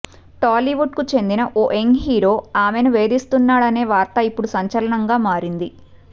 టాలీవుడ్ కు చెందిన ఓ యంగ్ హీరో ఆమెను వేధిస్తున్నాడనే వార్త ఇప్పుడు సంచలనంగా మారింది